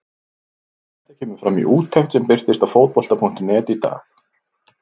Þetta kemur fram í úttekt sem birtist á Fótbolta.net í dag.